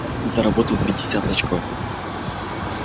заработал пятьдесят очков